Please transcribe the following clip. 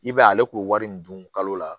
I b'a ye ale k'o wari min dun kalo la